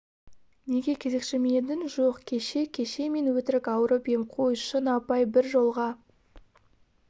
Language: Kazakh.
неге кезекші ме едің жоқ кеше кеше мен өтірік ауырып ем қой шын апай бір жолға